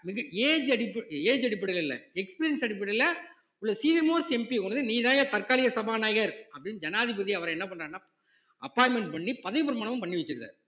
மிக age அடிப்ப~ age அடிப்படையில இல்லை experience அடிப்படையில உள்ள senior mostMP ய கொண்டுவந்து நீதான்யா தற்காலிக சபாநாயகர் அப்படின்னு ஜனாதிபதி அவரை என்ன பண்றாருன்னா appointment பண்ணி பதவி பிரமாணம் பண்ணி வச்சிறாரு